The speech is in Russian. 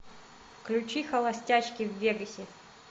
включи холостячки в вегасе